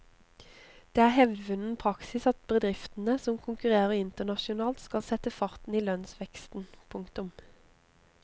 Det er hevdvunnen praksis at bedriftene som konkurrerer internasjonalt skal sette farten i lønnsveksten. punktum